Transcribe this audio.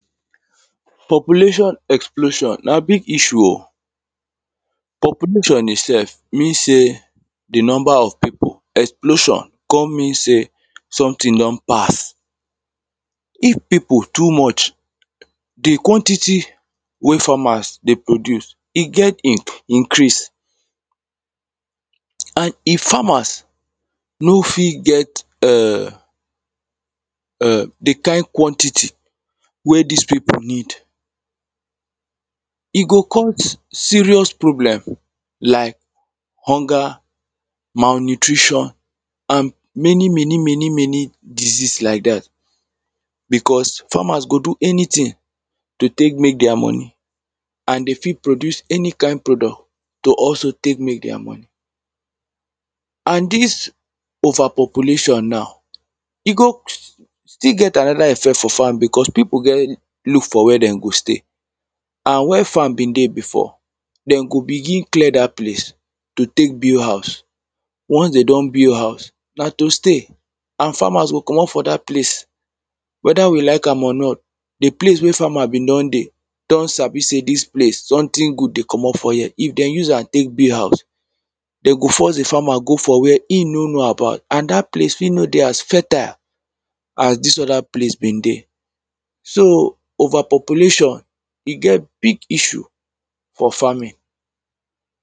population explosion na big issue o population itself mean say the number of people explosion come mean say something don pass if people too much the quantity wey farmers dey produce e get inc increase and if farmers no fit get um the kind quantity wey this people need e go cause serious problem like hunger, malnutrition and many many many many disease like that because farmers go do anything to take make their money and they fit produce any kind product to also take make their money and this over population now e good still get another effect for farm because people get look for where they go stay and where farm been dey before they go begin clear that place to take build house once they don build house na to stay and farmers go comot for that place whether we like am or not the place where farmer been don dey don sabi say this place something good dey comot for here if they use am take build house they go force the farmer go for where he no know about and that place fit no dey as fertile as this other place been dey so over population e get big issue for farming